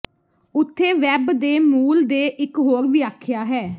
ਉੱਥੇ ਵੈੱਬ ਦੇ ਮੂਲ ਦੇ ਇਕ ਹੋਰ ਵਿਆਖਿਆ ਹੈ